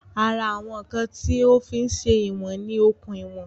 Ara àwọn ǹkan tí o fí ń se ìwọ̀n ni okùn ìwọ̀n